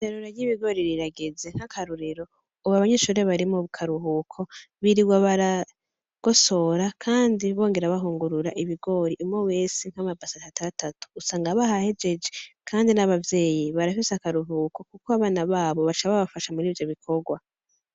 Iryerura vy'ibigori rirageze nk'akarorero ubu abanyeshuri bari mukaruhuko biriwa baragosora, kandi bongera bahungurura ibigori umwe wese nk'amabase atatu atatu usanga bahahejeje, kandi n'abavyeyi barafise akaruhuko, kuko abana babo baca babafasha murivyo bikorwa.